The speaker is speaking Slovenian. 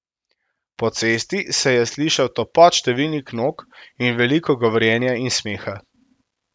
Po cesti se je slišal topot številnih nog in veliko govorjenja in smeha.